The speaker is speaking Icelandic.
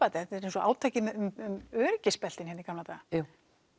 þetta er eins og átakið um öryggisbeltin hérna í gamla daga jú